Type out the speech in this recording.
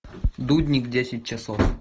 дудник десять часов